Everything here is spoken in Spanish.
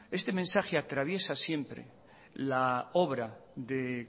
este mensaje atraviesa siempre la obra de